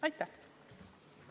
Aitäh!